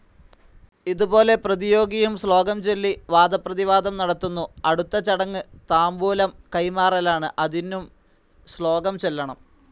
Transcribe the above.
ഇതുപോലെ പ്രതിയോഗിയും ശ്ലോകംചൊല്ലി വാദപ്രതിവാദം നടത്തുന്നു. അടുത്ത ചടങ്ങ് താംബൂലം കൈമാറലാണ്. അതിനും ശ്ലോകം ചൊല്ലണം.